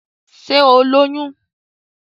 Sé o lóyún?